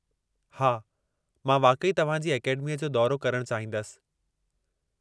हा, मां वाक़ई तव्हां जी अकेडमीअ जो दौरो करणु चाहींदसि।